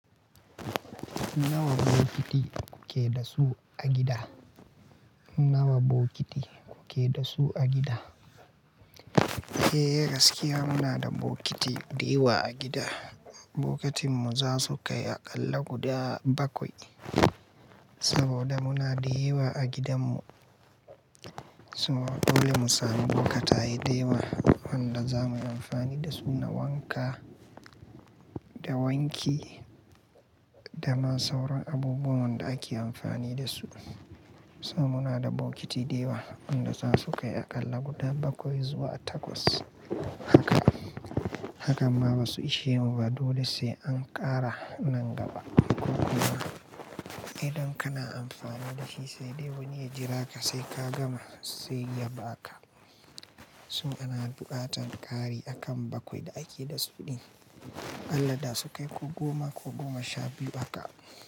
Nawa bokiti kuke da su a gida? Nawa bokiti kuke da su a gida? Eh gaskiya muna da bokiti dayawa a gida. Bokatin mu za su kai aƙalla guda bakwai saboda muna dayawa a gidanmu. So dole mu sami bokataye dayawa wanda za mu yi amfani da su na wanka, da wanki da ma sauran abubuwan da ake amfani da su. Sa muna da bokiti dayawa wanda za su kai aƙalla guda bakwai zuwa takwas. Haka, hakan ma ba su ishe mu ba dole sai an ƙara nan gaba. Ko kuma idan kana amfani da shi sai dai wani ya jira ka sai ka gama sai ya baka. Mutum yana buƙatar ƙari akan bakwai da ake da su ɗin. Allah da sun kai ko goma ko goma sha biyu haka.